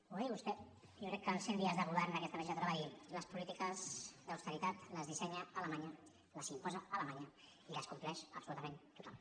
ho va dir vostè jo crec que als cent dies de govern d’aquesta legislatura va dir les polítiques d’austeritat les dissenya alemanya les imposa alemanya i les compleix absolutament tothom